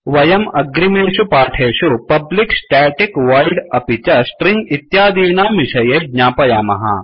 वयं अग्रिमेषु पाठेषु पब्लिक स्टेटिक वोइड् अपि च स्ट्रिंग इत्यादीनां विषये ज्ञापयामः